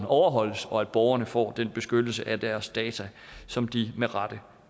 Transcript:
overholdes og at borgerne får den beskyttelse af deres data som de med rette